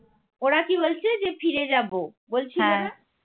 ওরা কি বলছে যে ফিরে যাবো বলছিলো না